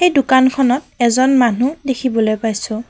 এই দোকান খনত এজন মানুহ দেখিবলৈ পাইছোঁ।